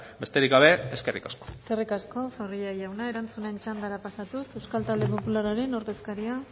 besterik gabe eskerrik asko eskerrik asko zorrilla jauna erantzunen txandara pasatuz euskal talde popularraren ordezkaria